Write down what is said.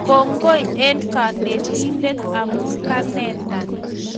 Kongoi eng konetindet amu keneta